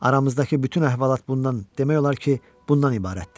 Aramızdakı bütün əhvalat bundan, demək olar ki, bundan ibarətdir.